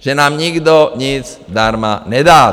Že nám nikdo nic zdarma nedá.